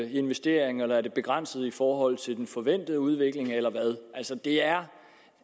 investeringer eller er det begrænset i forhold til den forventede udvikling eller hvad det er